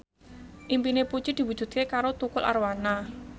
impine Puji diwujudke karo Tukul Arwana